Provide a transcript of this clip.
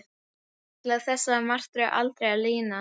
Ætlaði þessari martröð aldrei að linna?